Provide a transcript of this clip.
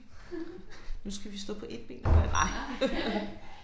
Nu skal vi stå på et ben og gøre det ej